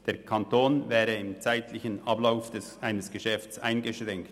Der Kanton wäre im zeitlichen Ablauf eines Geschäfts eingeschränkt.